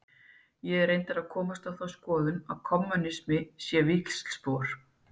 Ég er reyndar að komast á þá skoðun að kommúnisminn sé víxlspor.